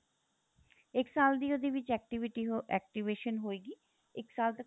ਇੱਕ ਸਾਲ ਦੀ ਉਹਦੇ ਵਿੱਚ activity ਅਹ activation ਹੋਏਗੀ ਇੱਕ ਸਾਲ ਤੱਕ